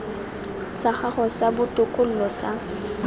sa gago sa botokololo ga